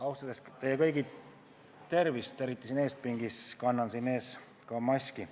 Austades teie kõigi tervist, eriti siin eespingis, kannan ka maski.